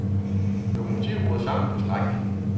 Lokomotivet brød sammen på strækningen.